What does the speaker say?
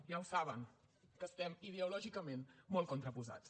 ja ho saben que estem ideològicament molt contraposats